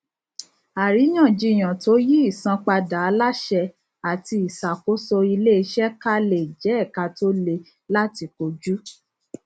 àríyànjiyàn tó yí ìsanpadà aláṣẹ ati ìṣàkóso iléiṣẹ ká lè jẹ ẹka tó le láti kojú